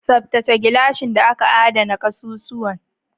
Tsaftace gilashin da aka adana ƙasusuwan.